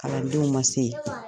Kalandenw man se ye.